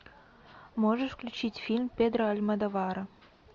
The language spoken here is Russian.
можешь включить фильм педро альмодовара